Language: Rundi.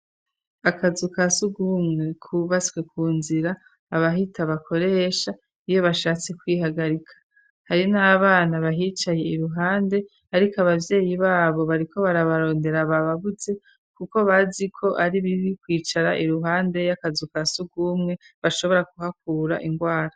Akazu ka sugumwe kubaswe ku nzira abahita bakoresha iyo bashatse kwihagarika hariho n'abana bahicaye iruhande ariko ababyeyi babo bari ko barabarondera ababuze kuko bazi ko ari bibi kwicara iruhande y'akazu ka sugumwe bashobora guhakura indwara.